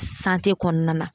sante kɔnɔna na